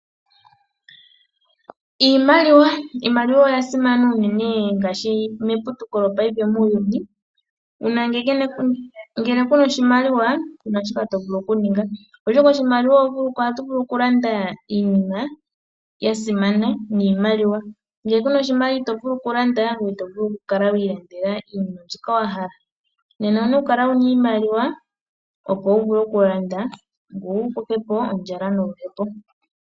Iimaliwa oya simana unene ngaashi meputuko lopaife muuyuni, uuna ngele kuna oshimaliwa kuna shoka to vulu okuninga, oshoka oshimaliwa ohatu vulu okulanda iinima ya simana niimaliwa. Ngele kuna oshimaliwa ito vulu okulanda, ngoye ito vulu okukala wa ilandela iinima mbyoka wa hala. Nena owuna okukala wuna iimaliwa opo wu vule okulanda ngoye wu kuthepo ondjala noluhepo.